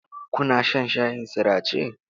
Kuna shan shayin sirace?